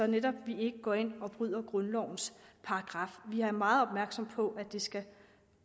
netop ikke går ind og bryder grundlovens paragraf vi er meget opmærksomme på at det skal